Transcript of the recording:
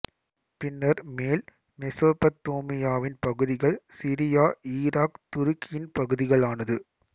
பின்னர் மேல் மெசொபத்தோமியாவின் பகுதிகள் சிரியா ஈராக் துருக்கியின் பகுதிகளானது